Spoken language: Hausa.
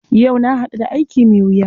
Yau na haɗu da aiki mai wuya.